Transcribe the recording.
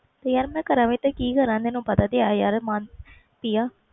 ਤੇ ਯਾਰ ਮੈਂ ਕਰ ਵੀ ਤੇ ਕਿ ਕਰ ਤੈਨੂੰ ਪਤਾ ਵੀ ਹੈ